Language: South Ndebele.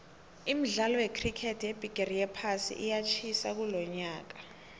imidkalo yecricket yebhigiri yephasi iyatjhisa kulonyaka